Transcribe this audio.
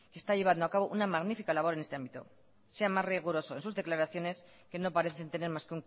que está llevando a cabo una magnífica labor en este ámbito sea más riguroso en sus declaraciones que no parecen tener más